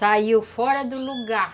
Saiu fora do lugar.